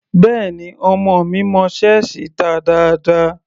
Béẹ̀ni, ọmọ mi mọ ṣẹ́ẹ̀sì ta dáadáa.